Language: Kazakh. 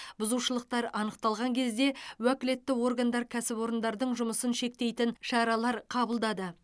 бұзушылықтар анықталған кезде уәкілетті органдар кәсіпорындардың жұмысын шектейтін шаралар қабылдады